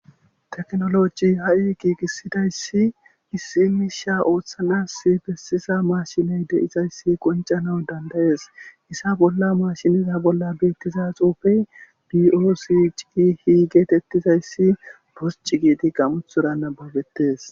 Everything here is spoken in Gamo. Teknoloji ha'i giigisidayssi issimisha ooththanas bessisa mashiney de'izayssi qoncana dandayees hissa bolla mashiniza bolla beettiza xuufey dioosi ci hi geetettizayssi bosc giidi gamuthoranababetes.